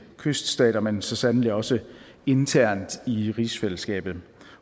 kyststater men så sandelig også internt i rigsfællesskabet